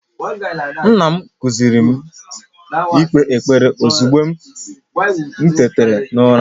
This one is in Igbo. Nna m, I kuziiri m ikpe ekpere ozugbo m tetara n'ụra.